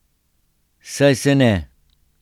Saj se ne.